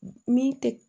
Min tɛ